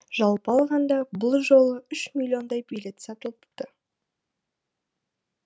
жалпы алғанда бұл жолы үш миллиондай билет сатылыпты